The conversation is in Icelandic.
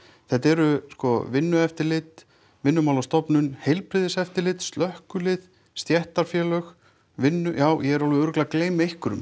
þetta eru sko Vinnueftirlit Vinnumálastofnun Heilbrigðiseftirlit slökkvilið stéttarfélög já ég er alveg örugglega að gleyma einhverjum